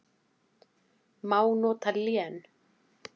Má nota lén